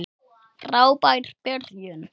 Frábær byrjun.